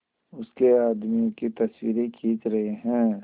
उसके आदमियों की तस्वीरें खींच रहे हैं